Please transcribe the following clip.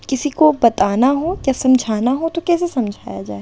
किसी को बताना हो या समझना हो तो कैसे समझाया जाए।